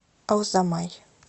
алзамай